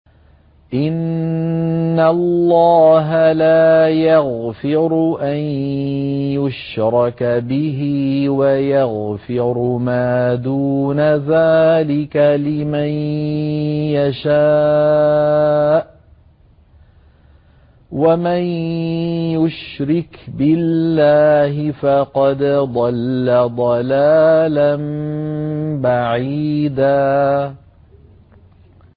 إِنَّ اللَّهَ لَا يَغْفِرُ أَن يُشْرَكَ بِهِ وَيَغْفِرُ مَا دُونَ ذَٰلِكَ لِمَن يَشَاءُ ۚ وَمَن يُشْرِكْ بِاللَّهِ فَقَدْ ضَلَّ ضَلَالًا بَعِيدًا